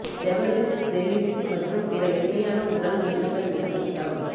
ஜெஃபர்ஃபிஷ்ட்ஸ் jellyfish மற்றும் பிற மென்மையான உடல் உயிரினங்கள் மீது ஊட்டம்